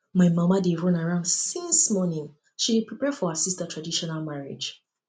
my mama dey run around since morning she dey prepare for her sister traditional marriage